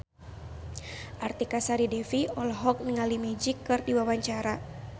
Artika Sari Devi olohok ningali Magic keur diwawancara